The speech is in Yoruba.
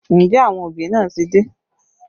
Ǹjẹ́ àwọn òbí náà ti dé?